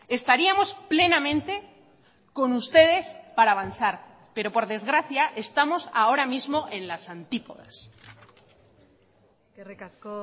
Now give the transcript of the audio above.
estaríamos plenamente con ustedes para avanzar pero por desgracia estamos ahora mismo en las antípodas eskerrik asko